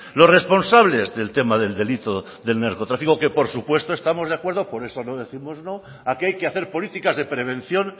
los responsables del tema del delito del narcotráfico que por supuesto estamos de acuerdo por eso no décimos no a que hay que hacer políticas de prevención